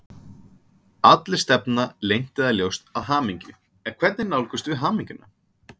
Allir stefna leynt eða ljóst að hamingju, en hvernig nálgumst við hamingjuna?